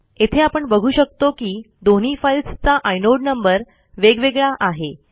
येथे आपण बघू शकतो की दोन्ही फाईलस् चा आयनोड नंबर वेगवेगळा आहे